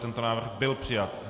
Tento návrh byl přijat.